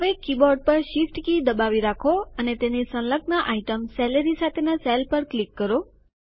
હવે કીબોર્ડ પર shift key દબાવી રાખો અને તેની સંલગ્ન આઈટમ સેલેરી સાથેનાં સેલ પર ક્લિક કરો